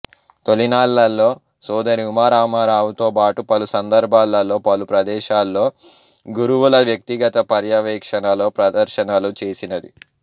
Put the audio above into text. తొలినాళ్ళలో సోదరి ఉమా రామారావుతో బాటు పలు సందర్భాలలో పలు ప్రదేశాల్లో గురువుల వ్యక్తిగత పర్యవేక్షణలో ప్రదర్శనలు చేసినది